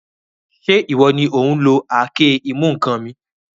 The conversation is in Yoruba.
Ṣé ìwọ ni òun lo àáké-ìmú-ǹkan mi?